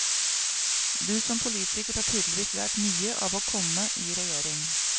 Du som politiker har tydeligvis lært mye av å komme i regjering?